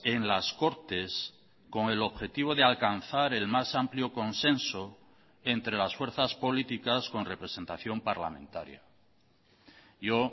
en las cortes con el objetivo de alcanzar el más amplio consenso entre las fuerzas políticas con representación parlamentaria yo